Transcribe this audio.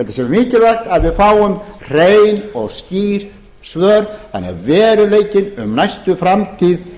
að það sé mikilvægt að við fáum hrein og skýr svör þannig að veruleikinn um næstu framtíð